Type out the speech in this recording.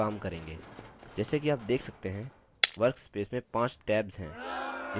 जैसे कि आप देख सकते हैं workspace में 5 tabs हैं जिन्हें view buttons कहते हैं